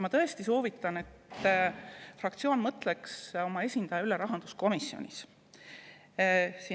Ma tõesti soovitan, et fraktsioon mõtleks oma esindaja peale rahanduskomisjonis.